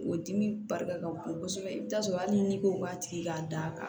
O dimi barika ka bon kosɛbɛ i bi t'a sɔrɔ hali ni ko b'a tigi ka da